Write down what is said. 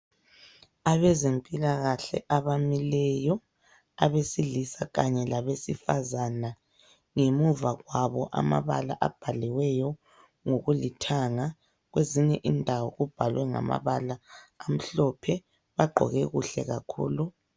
Abezempilakahle abamileyo, abesilisa kanye labesifazana ngemuva kwabo amabala abhaliweyo ngokulithanga kwezinye indawo kubhalwe ngamabala amhlophe, bagqoke kuhle kakhulu.